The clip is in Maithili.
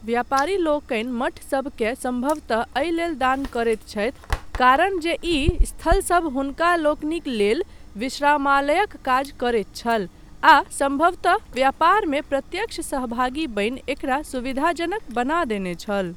व्यापारीलोकनि मठसभकेँ सम्भवतः एहि लेल दान करैत छथि, कारण जे ई स्थलसब हुनकालोकनिक लेल विश्रामालयक काज करैत छल आ सम्भवतः व्यापारमे प्रत्यक्ष सहभागी बनि एकरा सुविधाजनक बना देने छल।